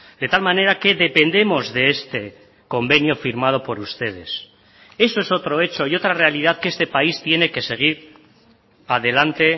de tal manera que dependemos de este convenio firmado por ustedes eso es otro hecho y otra realidad que este país tiene que seguir adelante